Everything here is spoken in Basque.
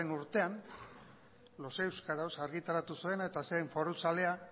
urtean los euskaros argitaratu zuena eta zen foruzalea